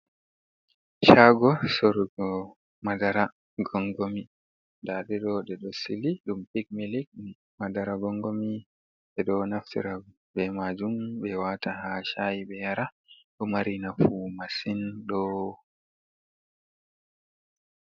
Shago sorugo madara gongomi. Nda ɗe ɗo ɗe ɗo sili, ɗum pik milik. Madara gongomi ɓe ɗo naftira be majum ɓe wata ha shaayi be yara, ɗo mari nafu masin, do...